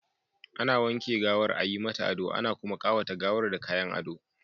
Ana wanke gawar, a yi mata ado, ana kuma ƙawata gawar da kayan ado.